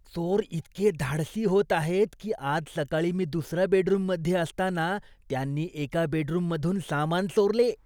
चोर इतके धाडसी होत आहेत की आज सकाळी मी दुसऱ्या बेडरूममध्ये असताना त्यांनी एका बेडरूममधून सामान चोरले.